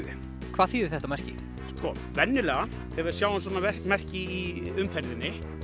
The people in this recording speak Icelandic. hvað þýðir þetta merki sko venjulega þegar við sjáum svona merki í umferðinni